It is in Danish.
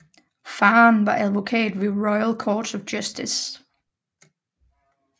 Faderen var advokat ved Royal Courts of Justice